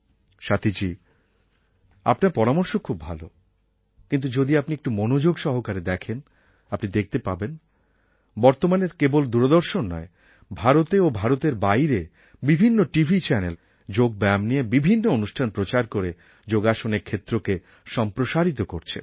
স্বাতীজী আপনার পরামর্শ খুব ভালো কিন্তু যদি আপনি একটু মনোযোগ সহকারে দেখেন আপনি দেখতে পাবেন বর্তমানে কেবল দূরদর্শন নয় ভারতে ও ভারতের বাইরে বিভিন্ন টিভি চ্যানেল যোগ ব্যায়াম নিয়ে বিভিন্ন অনুষ্ঠান প্রচার করে যোগাসনের ক্ষেত্রকে সম্প্রসারিত করছে